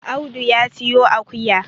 Audu ya siyo akuya